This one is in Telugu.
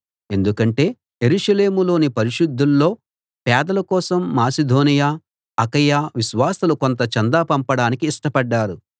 ఎందుకంటే యెరూషలేములోని పరిశుద్ధుల్లో పేదల కోసం మాసిదోనియ అకయ విశ్వాసులు కొంత చందా పంపడానికి ఇష్టపడ్డారు